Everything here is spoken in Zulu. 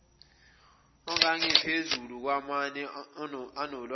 angengaphezulu kwamane anolwazi